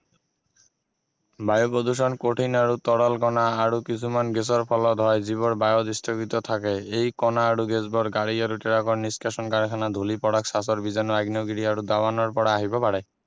বায়ু প্ৰদূষণ কঠিন আৰু তৰল কণা আৰু কিছুমান গেছৰ ফলত হয় যিবোৰ বায়ুত স্থগিত থাকে এই কণা আৰু গেছবোৰ গাড়ী আৰু ট্ৰাকৰ নিস্কাষণ আগ্নেয়গিৰি আহিব পাৰে